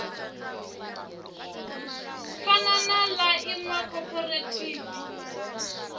fana na ḽa iṅwe khophorethivi